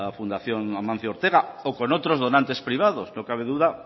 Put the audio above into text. fundación amancio ortega o con otros donantes privados no cabe duda